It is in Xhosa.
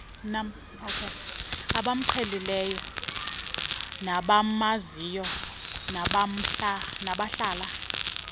abamqhelileyo nabamaziyo nabahlala